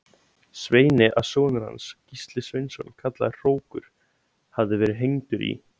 Sveini að sonur hans, Gísli Sveinsson kallaður hrókur, hefði verið hengdur í